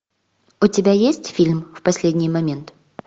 у тебя есть фильм в последний момент